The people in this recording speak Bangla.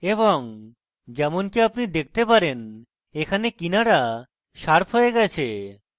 এবং যেমনকি আপনি দেখতে পারেন এখানে কিনারা শার্প হয়ে গেছে